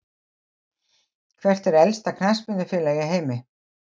Hvert er elsta knattspyrnufélag í heimi?